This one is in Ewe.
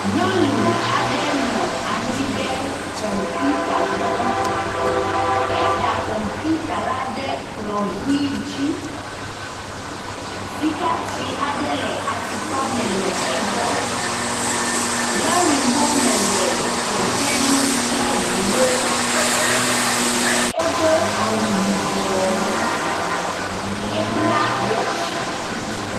Nyɔnu aɖe nɔ anyi ɖe kɔmputa gbɔ. Eda kɔputa la ɖe kplɔ ʋi dzi. Sikatsi aɖe le tukpa me le egbɔ. Lɔɖimɔ me le dzedzem kple ŋuwo. Wodo awu yibɔ. Ebla watsi.